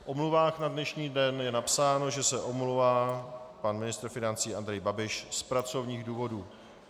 V omluvách na dnešní den je napsáno, že se omlouvá pan ministr financí Andrej Babiš z pracovních důvodů.